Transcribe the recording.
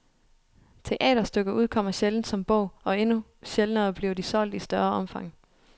Teaterstykker udkommer sjældent som bog, og endnu sjældnere bliver de solgt i større omfang.